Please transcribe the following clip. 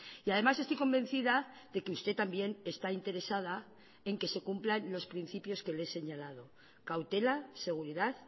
y además estoy convencida de que usted también está interesada en que se cumplan los principios que le he señalado cautela seguridad